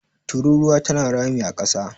tururuwa tana rami a kasa